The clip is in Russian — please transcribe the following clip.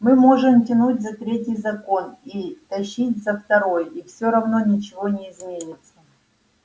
мы можем тянуть за третий закон и тащить за второй и всё равно ничего не изменится